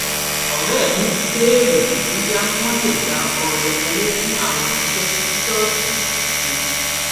òré mi béèrè bóyá wón lè gba ọrẹ owó fún àwọn iṣé tí ṣóòṣì ń ṣe